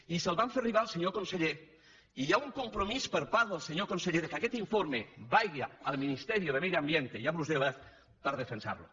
i el van fer arribar al senyor conseller i hi ha un compromís per part del senyor conseller que aquest informe vagi al ministerio de medio ambiente i a brussel·les per defensar lo